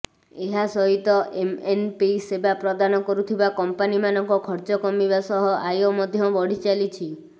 ଏହା ସହିତ ଏମଏନପି ସେବା ପ୍ରଦାନ କରୁଥିବା କମ୍ପାନିମାନଙ୍କ ଖର୍ଚ୍ଚ କମିବା ସହ ଆୟ ମଧ୍ୟ ବଢିଚାଲିଛି